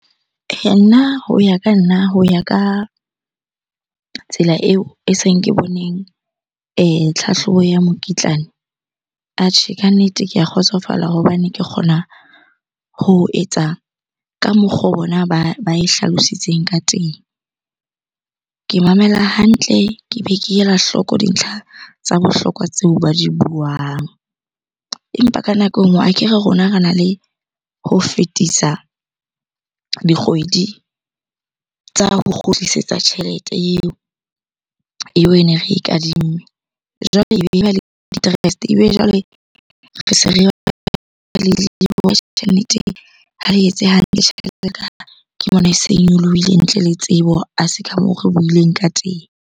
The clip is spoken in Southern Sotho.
Eya, nna ho ya ka nna. Ho ya ka tsela eo e seng ke boneng tlhahlobo ya mokitlane. Atjhe, kannete ke a kgotsofala hobane ke kgona ho etsa ka mokgo bona ba e hlalositsw eng ka teng. Ke mamela hantle, ke be ke ela hloko dintlha tsa bohlokwa tseo ba di buang. Empa ka nako e nngwe akere rona rena le ho fetisa dikgwedi tsa ho kgutlisetsa tjhelete eo ene e re e kadimme. Jwale interest-e etse hantle tjhelete . Ke bona e se e nyolohile ntle le tsebo. A se ka moo re buileng ka teng.